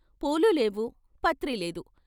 పూలులేవు, పత్రిలేదు.